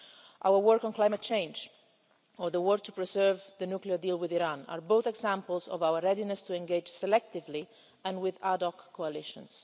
Our work on climate change or the work to preserve the nuclear deal with Iran are both examples of our readiness to engage selectively and with ad hoc coalitions.